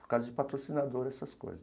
Por causa de patrocinador, essas coisas.